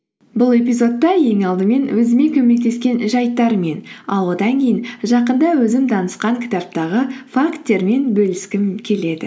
бұл эпизодта ең алдымен өзіме көмектескен жайттармен ал одан кейін жақында өзім танысқан кітаптағы факттермен бөліскім келеді